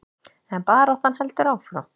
En baráttan heldur áfram.